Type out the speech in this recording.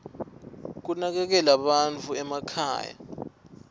kunakekela bantfu emakhaya